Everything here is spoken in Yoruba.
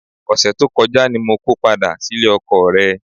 Ọ̀sẹ̀ tó kọjá ni mo ko padà sílé ọkọọ̀ rẹ.